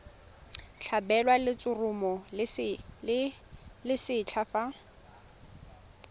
tlhabelwa letshoroma le lesetlha fa